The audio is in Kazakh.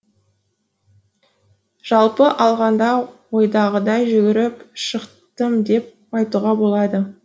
жалпы алғанда ойдағыдай жүгіріп шықтым деп айтуға болады